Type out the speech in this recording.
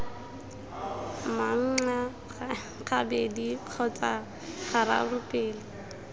manxa gabedi kgotsa gararo pele